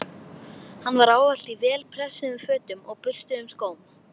Hann var ávallt í vel pressuðum fötum og burstuðum skóm.